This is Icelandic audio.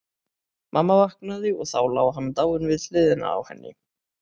Mamma vaknaði og þá lá hann dáinn við hliðina á henni.